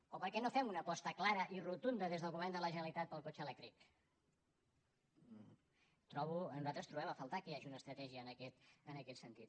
o per què no fem una aposta clara i rotunda des del govern de la generalitat pel cotxe elèctric trobo nosaltres trobem a faltar que hi hagi una estratègia en aquest sentit